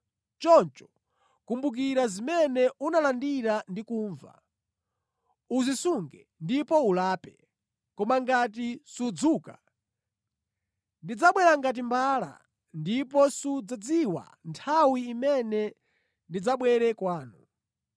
Choncho, kumbukira zimene unalandira ndi kumva; uzisunge ndipo ulape. Koma ngati sudzuka, ndidzabwera ngati mbala ndipo sudzadziwa nthawi imene ndidzabwere kwanu.